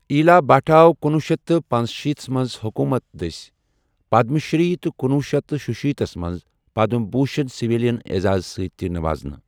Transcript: ایلا بھٹ آو کُنۄہ شیتھ تہٕ پنشیٖتھ منٛز حکومت دٔسۍ پدم شری تہٕ کُنۄہ شیتھ تہٕ شُشیٖتھس منٛز پدم بھوشن سویلین اعزاز ستۍ تہِ نوازانہٕ۔